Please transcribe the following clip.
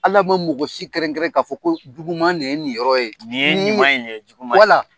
Ala ma mɔgɔ si kɛrɛnkɛ k'a fɔ ko juguman nin ye nin yɔrɔ ye , nin ye ɲuman bin ye juguman ye, wala.